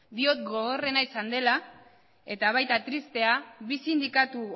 diot gogorrena izan dela eta baita tristea bi sindikatu